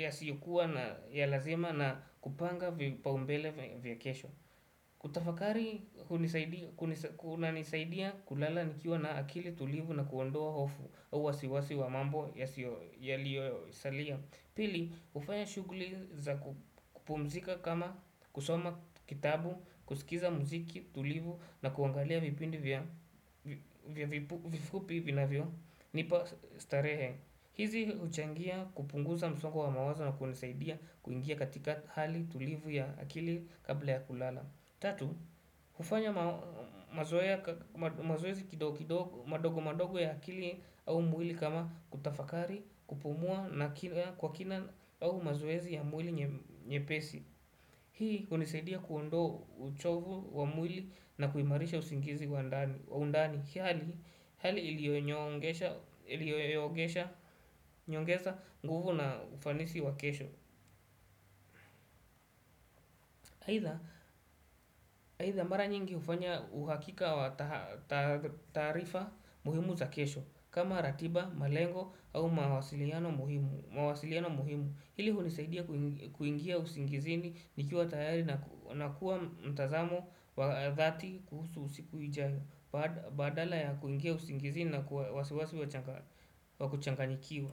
yasiyokuwa na ya lazima na kupanga vipaombele vya kesho kutafakari kunanisaidia kulala nikiwa na akili tulivu na kuondoa hofu uwasiwasi wa mambo yaliyo salia Pili, ufanya shuguli za kupumzika kama kusoma kitabu, kusikiza mziki, tulivu na kuangalia vipindi vya vifupi vinavyo. Nipa starehe. Hizi huchangia kupunguza msongo wa mawaza na kuonesaidia kuingia katika hali tulivu ya akili kabla ya kulala. Tatu, hufanya mazoezi kidogo madogo madogo ya kili au mwili kama kutafakari, kupumua na kwa kina au mazoezi ya mwili nyepesi. Hii hunisidia kuondoa uchovu wa mwili na kuimarisha usingizi wa undani. Hii hali ilionyongesha nguvu na ufanisi wa kesho. Haina bara nyingi ufanya uhakika wa tarifa muhimu za kesho kama ratiba, malengo au mawasiliano muhimu Hili hunisaidia kuingia usingizini nikiwa tayari na kuwa mtazamo wa dhati kuhusu usiku ijayo Badala ya kuingia usingizini na kuwa wasiwasi wakuchanganyikiwa.